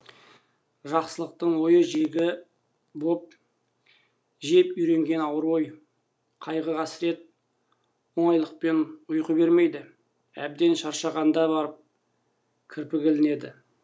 жақсылықтың ойын жегі боп жеп үйренген ауыр ой қайғы қасірет оңайлықпен ұйқы бермейді әбден шаршағанда барып кірпігі ілінеді